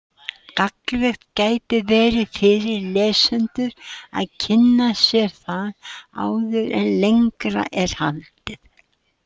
Gagnlegt gæti verið fyrir lesendur að kynna sér það áður en lengra er haldið.